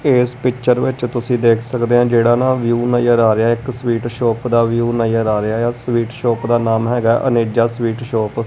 ਇਸ ਪਿਕਚਰ ਵਿੱਚ ਤੁਸੀਂ ਦੇਖ ਸਕਦੇ ਹੋ ਜਿਹੜਾ ਨਾ ਵਿਊ ਨਜ਼ਰ ਆ ਰਿਹਾ ਇੱਕ ਸਵੀਟ ਸ਼ੋਪ ਦਾ ਵਿਊ ਨਜ਼ਰ ਆ ਰਿਹਾ ਆ ਸਵੀਟ ਸ਼ੋਪ ਦਾ ਨਾਮ ਹੈਗਾ ਅਨੇਜਾ ਸਵੀਟ ਸ਼ੋਪ